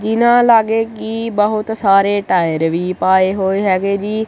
ਜਿਨਾ ਲਾਗੇ ਕੀ ਬਹੁਤ ਸਾਰੇ ਟਾਇਰ ਵੀ ਪਾਏ ਹੋਏ ਹੈਗੇ ਜੀ।